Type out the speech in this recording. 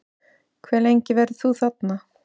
Hve lengi verður þú þarna?